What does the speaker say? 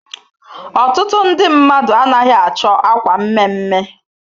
Ọtụtụ ndị mmadụ anaghị achọ akwa mme mme.